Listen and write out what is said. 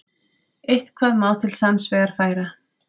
Eitthvað má til sanns vegar færa